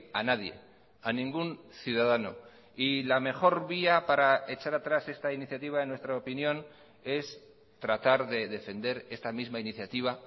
a nadie a ningún ciudadano y la mejor vía para echar atrás esta iniciativa en nuestra opinión es tratar de defender esta misma iniciativa